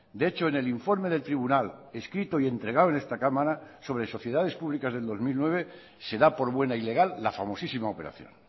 de hecho en el informe del tribunal escrito y entregado en esta cámara sobre sociedades públicas del dos mil nueve se da por buena y legal la famosísima operación